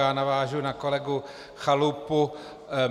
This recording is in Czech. Já navážu na kolegu Chalupu.